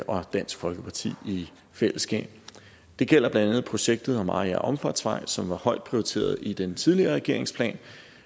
og dansk folkeparti i fællesskab det gælder blandt andet projektet om mariager omfartsvej som var højt prioriteret i den tidligere regerings plan